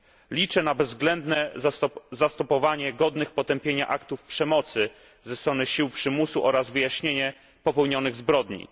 Liczę na bezwzględne zastopowanie godnych potępienia aktów przemocy ze strony sił przymusu oraz wyjaśnienie popełnionych zbrodni.